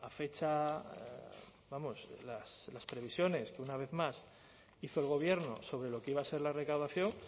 fecha vamos las previsiones que una vez más hizo el gobierno sobre lo que iba a ser la recaudación